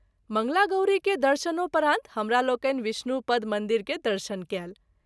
मंगला गौरी के दर्शनोपरान्त हमरा लोकनि विष्णु पद मंदिर के दर्शन कएल।